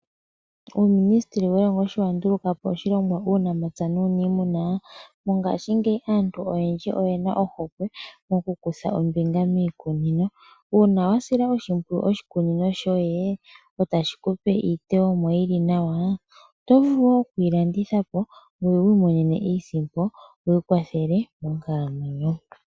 Uminisiteli welongo sho wandulukapo oshilongwa uunamapya nuniimuna kongashingeyi aantu oyendji oyena ohokwe oku kutha ombinga miikunino Una wasila oshikunino shoye etashi kupe iiteyemo yili nawa, oto vulu okuyi landithapo ngoye wimonene iisimpo wi kwathele monkalamwenyo.